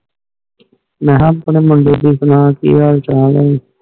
ਮੈ ਕਯਾ ਆਪਣੇ ਮੁੰਡੇ ਦੇ ਸੁਣਾ ਕਿ ਹਾਲ ਚਾਲ ਨੇ